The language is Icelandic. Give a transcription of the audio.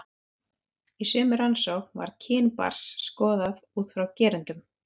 Í sömu rannsókn var kyn barns skoðað út frá gerendum.